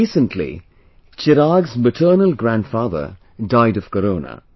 Recently, Chirag's maternal grandfather died of corona